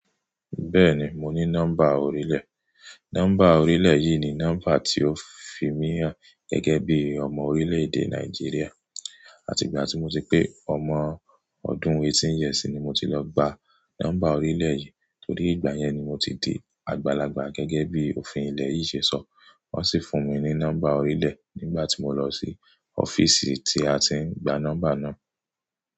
Bẹ́ẹ̀ni, mo ní nọ́mbà orílẹ̀. Nọ́mbà orílẹ̀ yìí ni nọ́mbà tí ó fi mí hàn gẹ́gẹ́ bí ọmọ orílẹ̀-èdè Nàìjíríà. Àti ìgbà tí mo ti pé ọmọ ọdún eighteen years ni mo ti lọ gba nọ́mbà orílẹ̀ yìí torí ìgbà yẹn ni mo ti di àgbàlagbà gẹ́gẹ́ bí òfin ilẹ̀ yìí ṣe sọ. Wọ́n sì fún mi ní nọ́mbà orílẹ̀ nígbà tí mo lọ sí ọ́fíìsì tí a ti ń gba nọ́mbà náà.